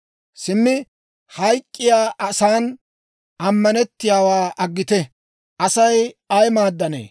Simmi hayk'k'iyaa asan ammanettiyaawaa aggite! Asay ay maaddanee?